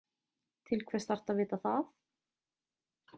Til hvers þarftu að vita það?